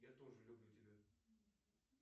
я тоже люблю тебя